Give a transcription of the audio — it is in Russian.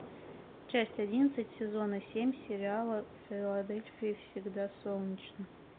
часть одиннадцать сезона семь сериала в филадельфии всегда солнечно